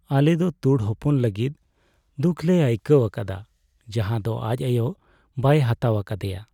ᱟᱞᱮ ᱫᱚ ᱛᱩᱲ ᱦᱚᱯᱚᱱ ᱞᱟᱹᱜᱤᱫ ᱫᱩᱠ ᱞᱮ ᱟᱹᱭᱠᱟᱹᱣ ᱟᱠᱟᱫᱟ ᱡᱟᱦᱟᱸ ᱫᱚ ᱟᱡ ᱟᱭᱳ ᱵᱟᱭ ᱦᱟᱛᱟᱣ ᱟᱠᱟᱫᱮᱭᱟ ᱾